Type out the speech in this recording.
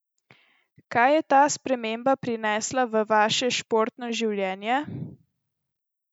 Kaj je ta sprememba prinesla v vaše športno življenje?